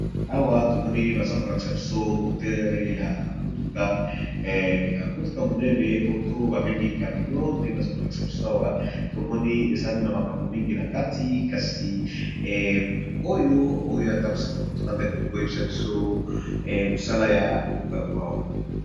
Awa tomoni, baza kolakisa biso motere ya motuka eh ya motuka monene ,oto babengi camion nde baza kolakisa biso awa tomoni ezali na makambo mingi na kati ! kasi motu oyo atambusaka motuka nde akoki koyebisa biso mosala ya biloko ya awa !